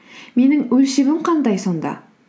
менің өлшемім қандай сонда